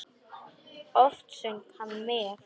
Oft söng hann með.